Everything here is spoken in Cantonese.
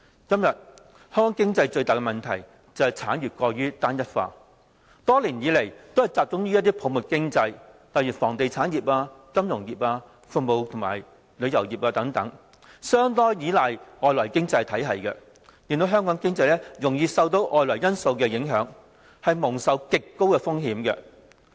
今天香港經濟最大的問題就是，產業過於單一化，多年來都是集中於泡沫經濟，例如房地產業、金融業、服務及旅遊業等，又相當依賴外來經濟體系，令香港經濟容易受到外圍因素影響，蒙受極高風險。